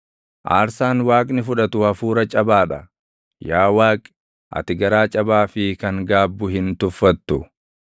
Aarsaan Waaqni fudhatu hafuura cabaa dha; Yaa Waaqi, ati garaa cabaa fi kan gaabbu hin tuffatu.